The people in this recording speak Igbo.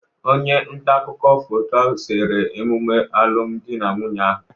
Onye nta akụkọ foto sere emume alụmdi na nwunye ahụ.